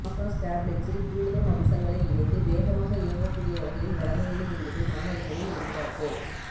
ஆகாஷ் டேப்லெட்ஸில் கூடுதம் அம்சங்களை இணைத்து வேகமாக இயங்கக் கூடிய வகையில் வழங்க வேண்டும் என்பதே மாணவர்களின் எதிர்பார்ப்பு